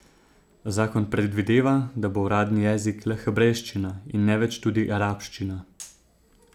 Zakon predvideva, da bo uradni jezik le hebrejščina in ne več tudi arabščina.